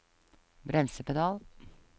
bremsepedal